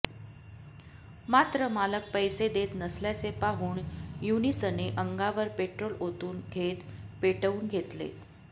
मात्र मालक पैसे देत नसल्याचे पाहून यूनुसने अंगावर पेट्रोल ओतून घेत पेटवून घेतले